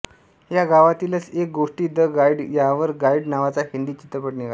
या गावातीलच एक गोष्ट दि गाईड यावर गाईड नावाचा हिन्दी चित्रपट निघाला